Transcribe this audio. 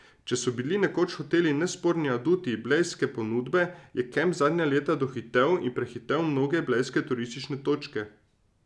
Če so bili nekoč hoteli nesporni aduti blejske ponudbe, je kamp zadnja leta dohitel in prehitel mnoge blejske turistične točke.